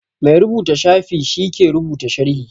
Mai rubuta shafi shi ke rubuta sharhi